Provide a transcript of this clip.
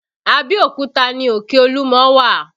Abeokuta ni òkè olúmọ wà